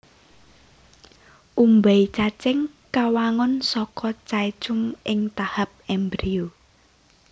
Umbai cacing kawangun saka caecum ing tahap embrio